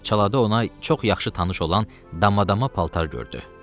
Çalada ona çox yaxşı tanış olan damadama paltar gördü.